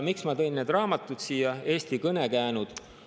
Miks ma tõin siia need raamatud "Eesti kõnekäänud"?